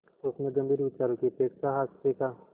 उसमें गंभीर विचारों की अपेक्षा हास्य का